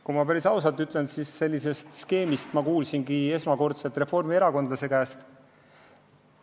Kui ma päris ausalt ütlen, siis sellisest skeemist ma kuulsingi esmakordselt ühe reformierakondlase käest.